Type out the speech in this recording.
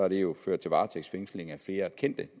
det jo ført til varetægtsfængsling af flere kendte